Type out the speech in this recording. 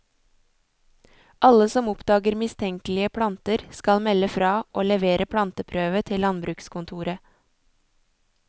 Alle som oppdager mistenkelige planter, skal melde fra og levere planteprøve til landbrukskontoret.